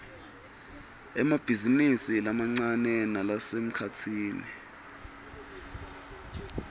emabhizinisi lamancane nalasemkhatsini